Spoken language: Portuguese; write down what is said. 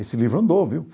Esse livro andou, viu?